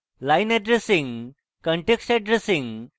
context addressing